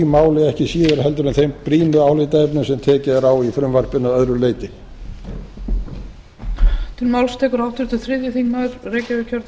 máli ekki síður en þeim brýnu álitaefnum sem tekið er á í frumvarpinu að öðru leyti